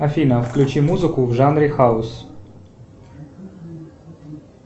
афина включи музыку в жанре хаус